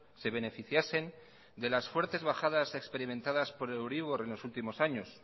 se beneficiasen de las fuertes bajadas experimentadas por el euribor en los últimos años